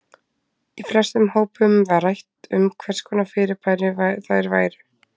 Í flestum hópunum var rætt um hvers konar fyrirbæri þær væru.